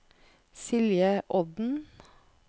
Silje Odden